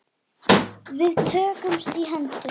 Við tökumst í hendur.